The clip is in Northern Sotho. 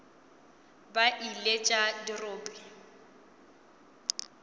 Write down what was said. be e le tša dirope